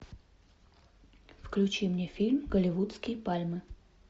включи мне фильм голливудские пальмы